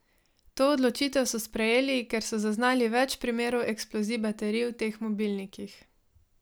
To odločitev so sprejeli, ker so zaznali več primerov eksplozij baterij v teh mobilnikih.